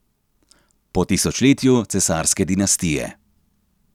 Po tisočletju cesarske dinastije!